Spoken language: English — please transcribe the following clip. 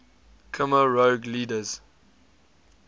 khmer rouge leaders